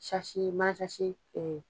i